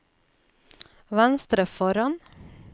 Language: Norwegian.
venstre foran